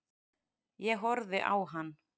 Ég horfði á hann.